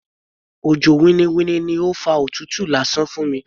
Òjò winniwinni ni ó fa òtútù lásán fún mi.